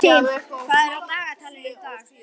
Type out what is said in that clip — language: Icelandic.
Pési, hvað er á dagatalinu í dag?